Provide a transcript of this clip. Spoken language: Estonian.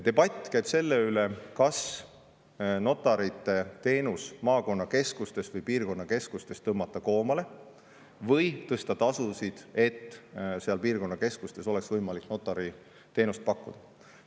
Debatt käib selle üle, kas notariteenus maakonnakeskustes või piirkonnakeskustes tõmmata koomale või tõsta tasusid, et seal piirkonnakeskustes oleks võimalik notariteenust pakkuda.